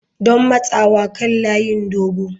Don matsawa kan layin dogo.